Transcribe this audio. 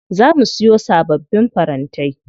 Za mu siyo sababbin farantai.